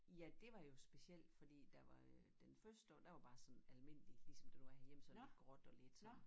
Ja dét var jo specielt fordi der var øh den første dag der var bare sådan almindelig ligesom det var herhjemme sådan lidt gråt og lidt sådan